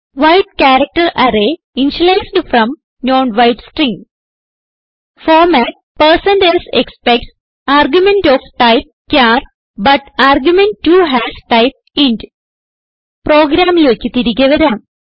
wide character array initialised from non wide string format160s expects argument of type char but argument 2 has type int പ്രോഗ്രാമിലേക്ക് തിരികെ വരാം